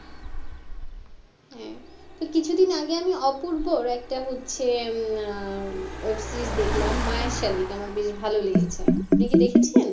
হ্যাঁ আর কিছুদিন আগে আমি অপূর্বর একটা হচ্ছে web-series দেখলাম। মায়ের শালিক আমার বেশ ভালো লেগেছে আপনি কি দেখেছেন